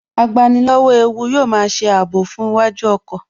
Agbani lọ́wọ́ ewu yóò máa ṣe ààbò fún iwájú ọkọ̀